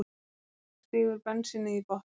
Silla stígur bensínið í botn.